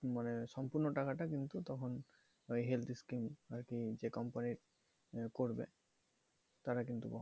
মানে সম্পূর্ণ টাকাটা কিন্তু তখন ঐ health scheme আর কি যে company করবে, তারা কিন্তু